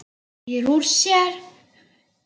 Teygir úr sér.